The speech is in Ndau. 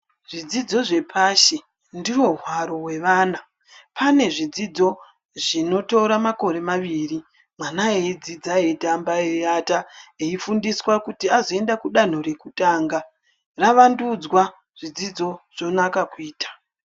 Zvidzidzo zvepashi ndivo hwaro hwevana pane zvidzidzo zvinotora makore maviri. Mwana eidzidza, eitamba, eivata eifundiswa kuti azoende kudanho rekutanga ravandidzwa zvidzidzo zvonaka kuita.